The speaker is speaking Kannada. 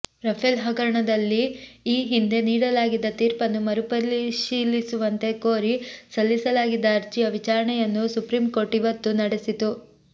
ರಫೇಲ್ ಹಗರಣದಲ್ಲಿ ಈ ಹಿಂದೆ ನೀಡಲಾಗಿದ್ದ ತೀರ್ಪನ್ನು ಮರಪರಿಶೀಲಿಸುವಂತೆ ಕೋರಿ ಸಲ್ಲಿಸಲಾಗಿದ್ದ ಅರ್ಜಿಯ ವಿಚಾರಣೆಯನ್ನು ಸುಪ್ರೀಂ ಕೋರ್ಟ್ ಇವತ್ತೂ ನಡೆಸಿತು